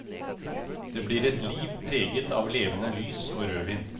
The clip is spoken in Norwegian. Det blir et liv preget av levende lys og rødvin.